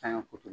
Saɲɔ kuturu